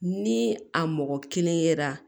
Ni a mɔgɔ kelen yera